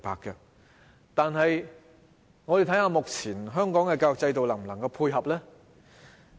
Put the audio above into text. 然而，我們看看香港目前的教育制度能否配合呢？